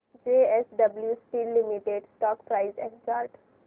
JSW steel limited stock price and chart